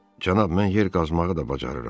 Cənab, mən yer qazmağı da bacarıram.